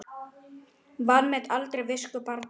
Vanmet aldrei visku barna.